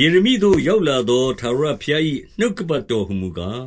ယေရမိသို့ရောက်လာသော ထာဝရဘုရား၏ နှုတ်ကပတ်တော်ဟူမူကား